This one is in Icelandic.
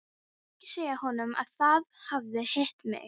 Ekki segja honum að þið hafið hitt mig.